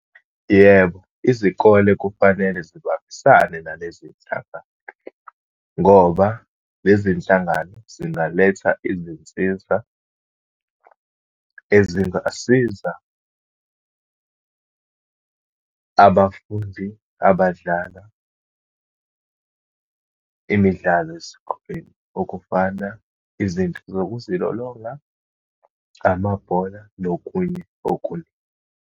Yebo, izikole kufanele zibambisane nalezinhlangano, ngoba lezi nhlangano zingaletha izinsiza ezingasiza abafundi abadlala imidlalo esikoleni. Okufana, izinto zokuzilolonga, amabhola, nokunye okuningi.